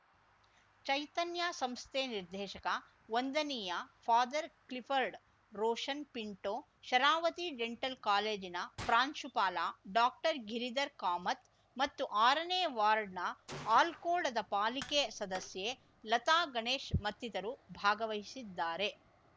ಚೈತನ್ಯ ಸಂಸ್ಥೆ ನಿರ್ದೇಶಕ ವಂದನೀಯ father Clifford Roshan Pinto Sharavathi dental ಕಾಲೇಜಿನ ಪ್ರಾಂಶುಪಾಲ ಡಾಕ್ಟರ್ ಗಿರಿಧರ್‌ ಕಾಮತ್‌ ಮತ್ತು ಆರನೇ ವಾರ್ಡ್‌ನ ಆಲ್ಕೋಳದ ಪಾಲಿಕೆ ಸದಸ್ಯೆ ಲತಾ ಗಣೇಶ್‌ ಮತ್ತಿತರು ಭಾಗವಹಿಸಿದ್ದಾರೆ